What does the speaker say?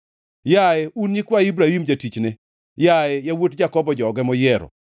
yaye un nyikwa Ibrahim jatichne, yaye yawuot Jakobo joge moyiero.